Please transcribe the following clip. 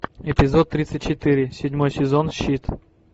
эпизод тридцать четыре седьмой сезон щит